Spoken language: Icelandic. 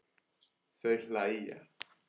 Þau hlæja.